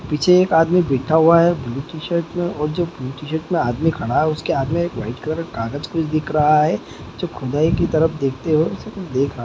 पीछे एक आदमी बैठा हुवा है ब्लू टी शर्ट में और जब ब्लू टी शर्ट मे आदमी खड़ा है उस के हाथ में एक व्हाइट कलर का कागज कुछ दिख रहा है जो खुदाई की तरफ देखते हुवे उसे कुछ देख रहा--